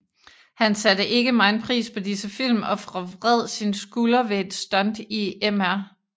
Han satte ikke megen pris på disse film og forvred sin skulder ved et stunt i Mr